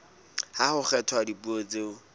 ha ho kgethwa dipuo tseo